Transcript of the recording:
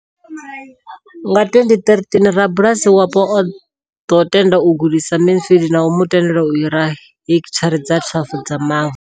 Nga 2013, rabulasi wapo o ḓo tenda u gudisa Mansfield na u mu tendela u hira hekithara dza 12 dza mavu.